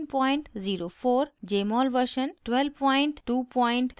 jmol version 12232